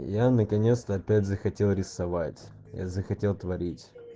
я наконец-то опять захотел рисовать я захотел творить